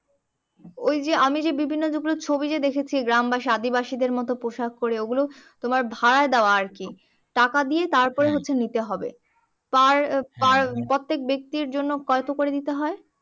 ওই যে আমি যে বিভিন্ন রূপের ছবি যে দেখেছি গ্রামবাসী আদিবাসীদের মতো পোশাক পরে ওই গুলো তোমার ভাড়ায় দেওয়া আরকি টাকা দিয়ে তার কিছু নিতে হবে পার প্রত্যেক ব্যাক্তির জন্য কইতো করে দিতে হয়